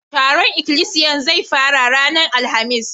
Taron ikilisiyan zai fara ranan Alhamis.